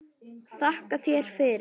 Þakka þér fyrir